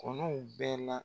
Kɔnɔw bɛ la